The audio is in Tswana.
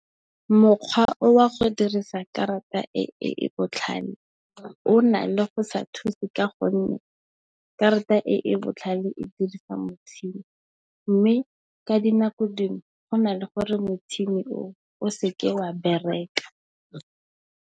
Mokgwa o wa go dirisa karata e e botlhale o na le go sa thusi ka gonne, karata e e botlhale e dirisa motšhini. Mme, ka dinako dingwe go na le gore motšhini o, o seke wa bereka.